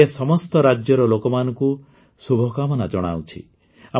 ମୁଁ ଏ ସମସ୍ତ ରାଜ୍ୟର ଲୋକମାନଙ୍କୁ ଶୁଭକାମନା ଜଣାଉଛି